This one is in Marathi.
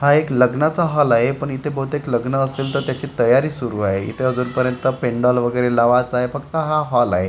हा एक लग्नाचा हॉल आहे पण इथे बहुतेक लग्न असेल तर त्याची तयारी सुरु आहे इथे अजूनपर्यंत पेंडॉल वगेरे लावायचा आहे फक्त हा हॉल आहे.